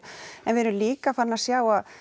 en við erum líka farin að sjá að